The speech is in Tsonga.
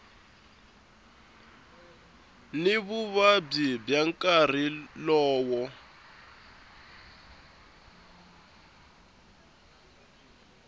ni vuvabyi bya nkarhi lowo